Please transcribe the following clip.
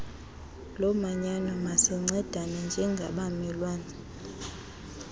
lomanyano masincedane njengabamelwane